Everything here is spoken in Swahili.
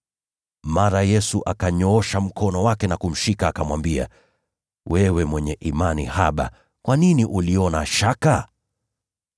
Mara Yesu akaunyoosha mkono wake na kumshika, akamwambia, “Wewe mwenye imani haba, kwa nini uliona shaka?”